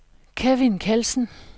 Kevin Kjeldsen